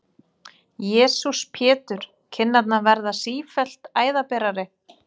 Jesús Pétur, kinnarnar verða sífellt æðaberari!